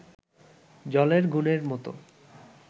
জলের গুণের মতো